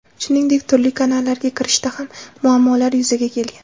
Shuningdek, turli kanallarga kirishda ham muammolar yuzaga kelgan.